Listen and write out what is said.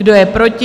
Kdo je proti?